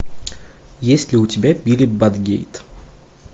есть ли у тебя билли батгейт